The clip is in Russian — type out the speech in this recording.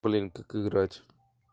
блин как играть